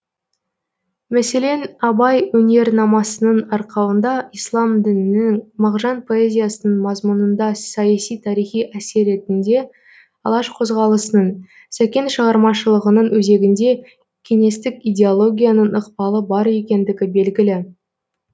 мәселен абай өнернамасының арқауында ислам дінінің мағжан поэзиясының мазмұнында саяси тарихи әсер ретінде алаш қозғалысының сәкен шығармашылығының өзегінде кеңестік идеологияның ықпалы бар екендігі белгілі